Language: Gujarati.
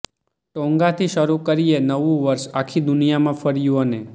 ટોન્ગાથી શરૂ કરીએ નવું વર્ષ આખી દુનિયામાં ફર્યું અને